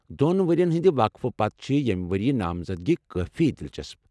دوٚن ؤرِین ہٕنٛدِ وقفہٕ پتہٕ چھ ییمہِ ؤرِیہ نامزدگی کٲفی دلچسپ۔